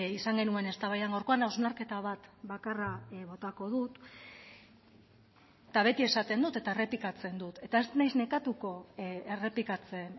izan genuen eztabaidan gaurkoan hausnarketa bat bakarra botako dut eta beti esaten dut eta errepikatzen dut eta ez naiz nekatuko errepikatzen